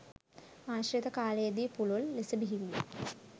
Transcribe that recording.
ආශ්‍රිත කාලයේ දී පුළුල් ලෙස බිහිවිය.